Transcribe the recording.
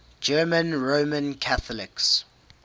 german roman catholics